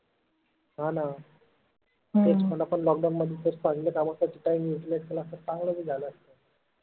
हा ना तेच मग आपन lockdown मध्ये काम कशे करून घेतले असते ना त चांगल बी झालं असत.